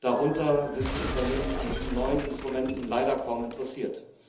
Darunter sind Unternehmen an diesen neuen Instrumenten leider kaum interessiert.